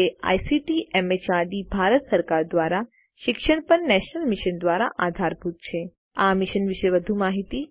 જે ICT MHRD Bharat સરકાર દ્વારા શિક્ષણ પર નેશનલ મિશન દ્વારા આધારભૂત છે આ મિશન વિશે વધુ માહીતી